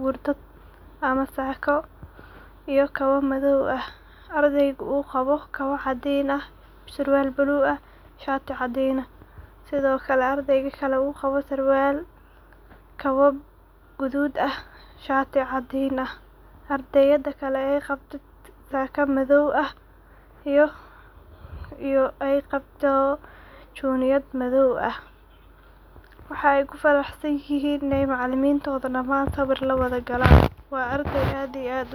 gurdad ama sako iyo kabo madow, ah ardeygu u qabo kabo cadin ah, sarwal madow ah, shati cadin ah sidiokale ardeyga kale uqabo sarwal, kabo gadud ah, shati cadin ah ardeyada kale ay qabto saka madow ah, iyo ay qabto chuniyad madow ah, waxay kufaraxsanyihin inay macalimintodha daman siwir lawadha galan wa ardey ad iyo ad uwanagsan.